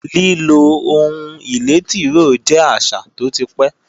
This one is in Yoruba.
Lílo ohun ìlé tìróò jẹ́ àṣà tó ti pẹ́